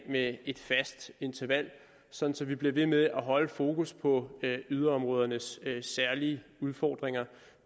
med et fast interval så så vi bliver ved med at holde fokus på yderområdernes særlige udfordringer